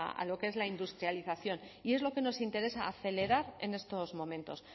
a lo que es la industrialización y es lo que nos interesa acelerar en estos momentos